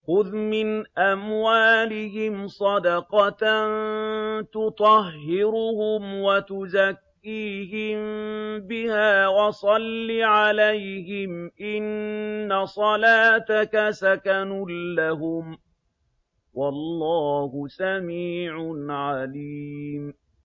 خُذْ مِنْ أَمْوَالِهِمْ صَدَقَةً تُطَهِّرُهُمْ وَتُزَكِّيهِم بِهَا وَصَلِّ عَلَيْهِمْ ۖ إِنَّ صَلَاتَكَ سَكَنٌ لَّهُمْ ۗ وَاللَّهُ سَمِيعٌ عَلِيمٌ